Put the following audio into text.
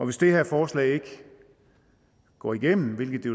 hvis det her forslag ikke går igennem hvilket det